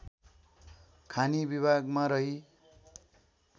खानी विभागमा रही